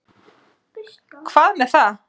Hvað með það.